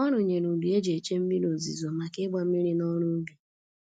Ọ rụnyere udu e ji eche mmiri ozuzo maka ịgba mmiri na ọrụ ubi